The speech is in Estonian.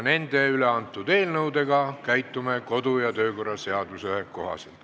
Nende üle antud eelnõudega aga käitume kodu- ja töökorra seaduse kohaselt.